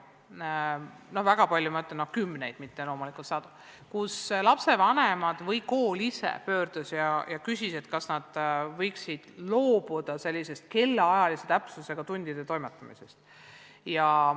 Selles mõttes palju, et oli kümneid – loomulikult mitte sadu – juhtumeid, kus lapsevanem või kool ise pöördus ja küsis, kas nad võiksid loobuda sellisest kellaajalise täpsusega tundide läbiviimisest.